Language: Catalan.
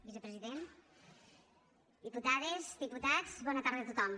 vicepresident diputades diputats bona tarda a tothom